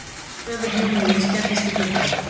Höfuð Júlíu skellist í gluggann.